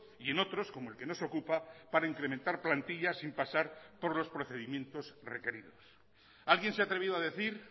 y en otros como el que nos ocupa para incrementar plantilla sin pasar por los procedimientos requeridos alguien se ha atrevido a decir